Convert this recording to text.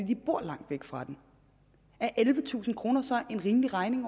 de bor langt væk fra den er ellevetusind kroner så en rimelig regning